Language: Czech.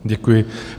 Děkuji.